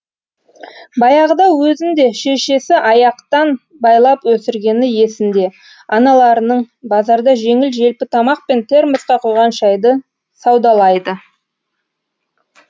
баяғыда өзін де шешесі аяқтан байлап өсіргені есінде аналарының базарда жеңіл желпі тамақ пен термосқа құйған шәйді саудалайды